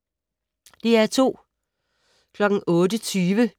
DR2